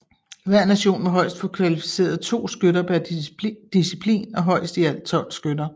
Hver nation må højst få kvalificeret 2 skytter per disciplin og højst i alt 12 skytter